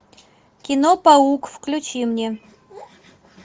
кино паук включи мне